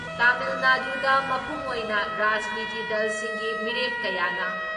ꯇꯥꯃꯤꯜ ꯅꯥꯗꯨꯗ ꯃꯄꯨꯡ ꯑꯣꯏꯅ ꯔꯥꯖꯅꯤꯇꯤ ꯗꯜꯁꯤꯡꯒꯤ ꯃꯤꯔꯦꯞ ꯀꯌꯥꯅ